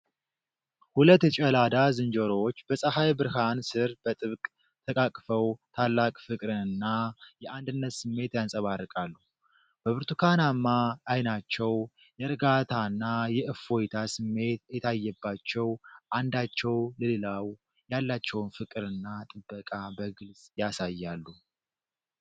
ሁለት የጨላዳ ዝንጀሮዎች በፀሐይ ብርሃን ስር በጥብቅ ተቃቅፈው ታላቅ ፍቅርና የአንድነት ስሜት ያንጸባርቃሉ። በብርቱካናማ ዓይናቸው የእርጋታና የእፎይታ ስሜት እየታየባቸው፣ አንዳቸው ለሌላው ያላቸውን ፍቅርና ጥበቃ በግልጽ ያሳያሉ።